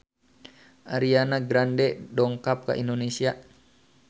Ariana Grande dongkap ka Indonesia